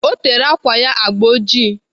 Ọ tere ákwà ya agba ọjị.